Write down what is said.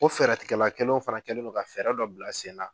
Ko fɛɛrɛtigɛlakɛlaw fana kɛlen don ka fɛɛrɛ dɔ bila sen na.